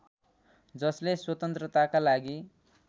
जसले स्वतन्त्रताका लागि